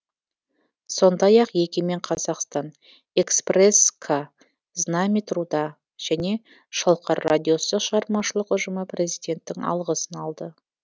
сондай ақ егемен қазақстан экспресс к знамя труда және шалқар радиосы шығармашылық ұжымы президенттің алғысын алды